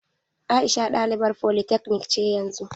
Aisha ɗalibar polytechnic ce yanzu.